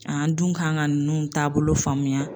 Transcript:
An dun kan ka ninnu taabolo faamuya.